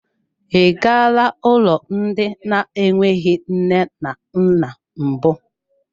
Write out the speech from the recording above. I galaa ụlọ ndị na-enweghị nne na nna mbụ.